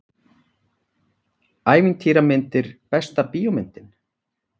Ævintýramyndir Besta bíómyndin?